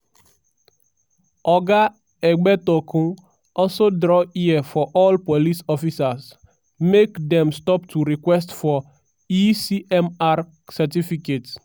oga egbetokoun also draw ear for all police officers make dem stop to request for e-cmr certificates.